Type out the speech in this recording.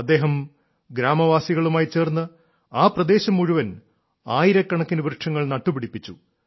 അദ്ദേഹം ഗ്രാമവാസികളുമായി ചേർന്ന് ആ പ്രദേശം മുഴുവൻ ആയിരക്കണക്കിന് വൃക്ഷങ്ങൾ നട്ടുപിടിപ്പിച്ചു